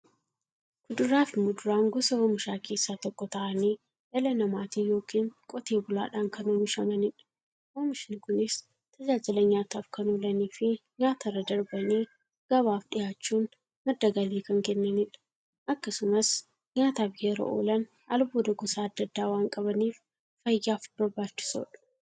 Kuduraafi muduraan gosa oomishaa keessaa tokko ta'anii, dhala namaatin yookiin Qotee bulaadhan kan oomishamaniidha. Oomishni Kunis, tajaajila nyaataf kan oolaniifi nyaatarra darbanii gabaaf dhiyaachuun madda galii kan kennaniidha. Akkasumas nyaataf yeroo oolan, albuuda gosa adda addaa waan qabaniif, fayyaaf barbaachisoodha.